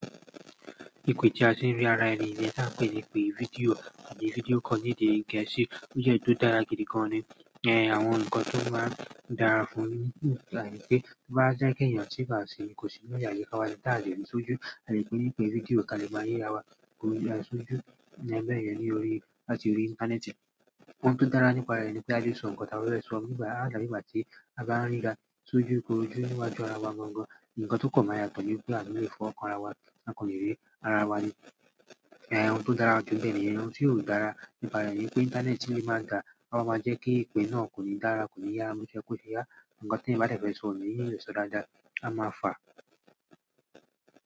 Ipe ti àti ri ara ẹni ti a n pe ipe fídíò àbí fídíò call ni èdè gẹ̀ẹ́sì, o je èyí to dára gidi gan ni. Ẹn, àwọn ǹkan tó máa ń dára fún ni wípé bá jẹ́ kí èèyàn sì bá ṣe kòsi ní àyi káwa ta le rí sójú, àle pé lórí fídíò kalẹ̀ máa rirá wa kúrò ni asojú níbẹ̀ ni orí láti orí íńtánẹ́ẹ̀tì. Ohun tó dára nípa rẹ̀ ni pé a lè sọ ǹkan tàbí ó lè sọ, nígbà àti ìgbà tí a bá rira sójú, kó ojú níwájú ara wa gangan. Ǹkan tó kàn máa yá tọ̀ ni pé a ni le fọ́wo kan ara wa á kan le rí ara wa ni. Ẹn, ohun tó dára ju bẹ́ẹ̀ ni, ohun tí ò dára nípa rẹ̀ ni pé íńtánẹ́ẹ̀tì yìí máa dà á máa jẹ́ kí ìpè náà kò ní dára, kò ní yá, bo se ye kose yá. Ǹkan tí ẹyan bá dẹ̀ fẹ̀ sọ̀ o nile so dáadáa, a máa fà á.